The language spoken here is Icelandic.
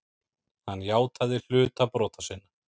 Hann játaði hluta brota sinna.